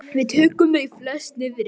Við tókum þau flest niðri.